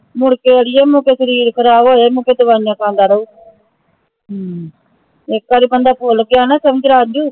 ਮੁੜਕੇ ਅੜੀਏ ਸ਼ਰੀਰ ਖ਼ਰਾਬ ਹੋਜੇ ਮੁੜਕੇ ਦਵਾਈਆਂ ਖਾਂਦਾ ਰਹੁ ਇਕ ਬਾਰੀ ਬੰਦਾ ਭੁੱਲ ਗਿਆ ਨਾ ਸਮਝਲਾ